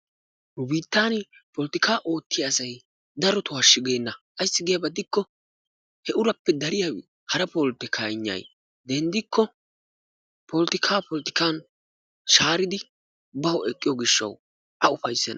Nu biittan polottikka darotoo hashshu geenna ayssi gidiyaba gidikko he urappe dariya hara polottikkaynnay denddikko polottikka polottikkan shaaridi bawu ekkiyo gishshawu a ufayssenna.